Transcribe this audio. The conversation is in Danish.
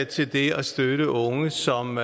til det at støtte unge som